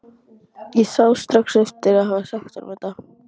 Ég sá strax eftir að hafa sagt honum þetta.